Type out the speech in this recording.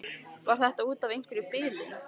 Var það út af einhverri bilun?